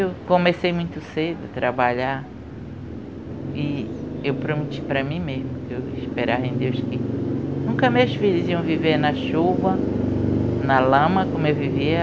Eu comecei muito cedo a trabalhar e eu prometi para mim mesmo, que eu esperava em Deus que... Nunca meus filhos iam viver na chuva, na lama, como eu vivia.